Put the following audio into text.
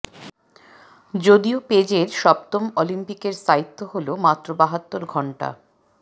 যদিও পেজের সপ্তম অলিম্পিকের স্থায়িত্ব হল মাত্র বাহাত্তর ঘন্টা